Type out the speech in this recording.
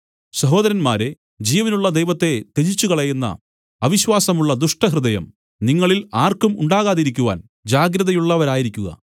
സഹോദരന്മാരേ ജീവനുള്ള ദൈവത്തെ ത്യജിച്ചുകളയുന്ന അവിശ്വാസമുള്ള ദുഷ്ടഹൃദയം നിങ്ങളിൽ ആർക്കും ഉണ്ടാകാതിരിക്കുവാൻ ജാഗ്രതയുള്ളവരായിരിക്കുക